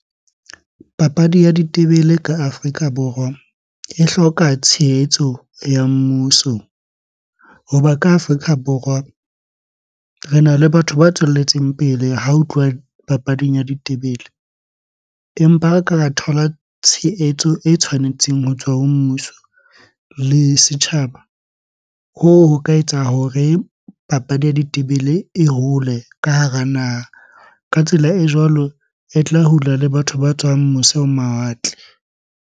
Papadi ya ditebele ka Afrika Borwa e hloka tshehetso ya mmuso. Hoba ka Afrika Borwa, rena le batho ba tswelletseng pele ha ho tluwa papading ya ditebele. Empa ha re ka ra thola tshehetso e tshwanetseng ho tswa ho mmuso le setjhaba, hoo ho ka etsa hore papadi ya ditebele e hole ka hara naha. Ka tsela e jwalo e tla hula le batho ba tswang mose ho mawatle.